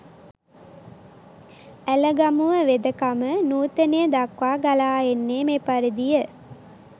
ඇලගමුව වෙදකම නූතනය දක්වා ගලා එන්නේ මෙපරිදිය